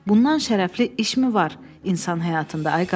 Bundan şərəfli işmi var insan həyatında, ay qardaş?